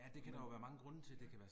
Jo, ja